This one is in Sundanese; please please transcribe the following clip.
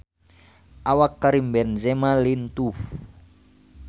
Awak Karim Benzema lintuh